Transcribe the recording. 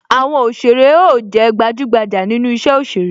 Àwọn òsèrè ó jé gbajugbaja nínú isẹ òsèré